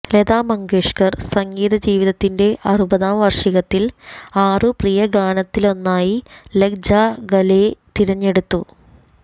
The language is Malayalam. ലതാ മങ്കേഷ്കർ സംഗീതജീവിതത്തിന്റെ അറുപതാം വാർഷികത്തിൽ ആറു പ്രിയഗാനത്തിലൊന്നായി ലഗ് ജാ ഗലേ തെരഞ്ഞെടുത്തു